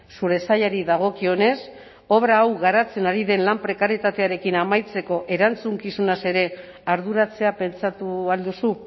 zure sailari dagokionez obra hau garatzen ari den lan prekarietatearekin amaitzeko erantzukizunaz ere arduratzea pentsatu al duzu